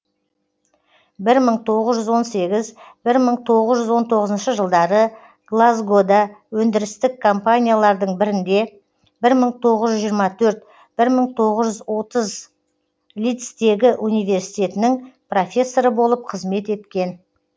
бір мың тоғыз жүз он сегіз бір мың тоғыз жүз он тоғызыншы жылдары глазгода өндірістік компаниялардың бірінде бір мың тоғыз жүз жиырма төрт бір мың тоғыз жүз отыз лидстегі университетінің профессоры болып қызмет еткен